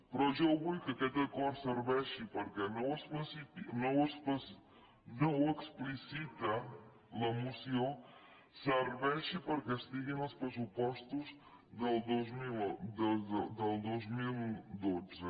però jo vull que aquest acord serveixi perquè no ho explicita la moció perquè estigui en els pressupostos del dos mil dotze